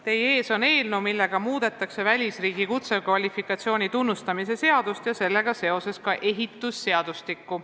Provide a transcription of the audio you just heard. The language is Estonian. Teie ees on eelnõu, millega muudetakse välisriigi kutsekvalifikatsiooni tunnustamise seadust ja sellega seoses ka ehitusseadustikku.